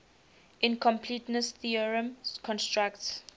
incompleteness theorem constructs